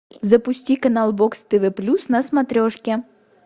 запусти канал бокс тв плюс на смотрешке